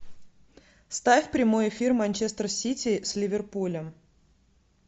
ставь прямой эфир манчестер сити с ливерпулем